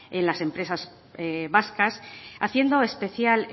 en las empresas vascas haciendo especial